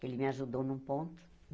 Que ele me ajudou num ponto.